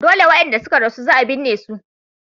Dole wadanda suka rasu za a binne su.